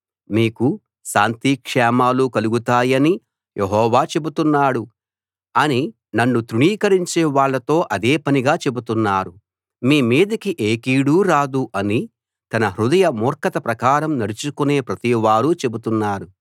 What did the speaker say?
మీకు శాంతిక్షేమాలు కలుగుతాయని యెహోవా చెబుతున్నాడు అని నన్ను తృణీకరించే వాళ్ళతో అదే పనిగా చెబుతున్నారు మీ మీదికి ఏ కీడూ రాదు అని తన హృదయ మూర్ఖత ప్రకారం నడుచుకునే ప్రతివారూ చెబుతున్నారు